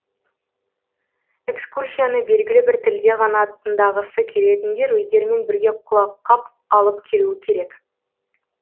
экскурсияны белгілі бір тілде ғана тыңдағысы келетіндер өздерімен бірге құлаққап алып келуі керек